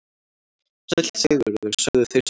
Sæll Sigurður, sögðu þeir samtaka.